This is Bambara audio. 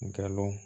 Galon